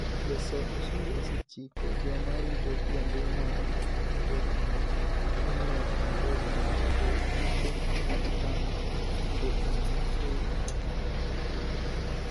Jasol osuru osechiko joma rito kuonde ma mtokni chung'ie e Nairobi mondo ogor piche mag namba mtokni ma weggi ok osechulo.